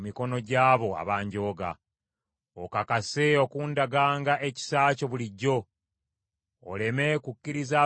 Okakase okundaganga ekisa kyo bulijjo, oleme kukkiriza ababi okunjooganga.